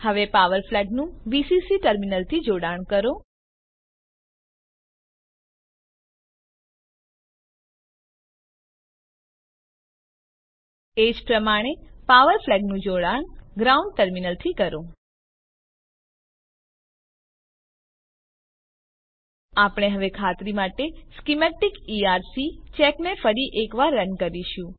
હવે પાવર ફ્લેગનું વીસીસી ટર્મિનલથી જોડાણ કરો એજ પ્રમાણે પાવર ફ્લેગનું જોડાણ ગ્રાઉન્ડ ટર્મિનલથી કરો આપણે હવે ખાતરી માટે સ્કીમેટીક ઇઆરસી ચેકને ફરી એક વાર રન કરીશું